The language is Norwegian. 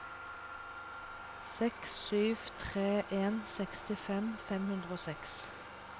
seks sju tre en sekstifem fem hundre og seks